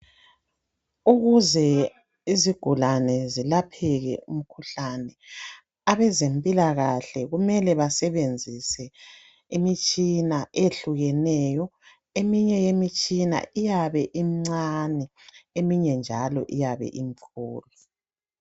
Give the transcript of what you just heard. Ukuze izigulane zilapheke umkhuhlane abezempilakahle kumele basebenzise imitshina eyehlukeneyo eminye yemitshina iyabe imncane eminye njalo iyabe imkhulu.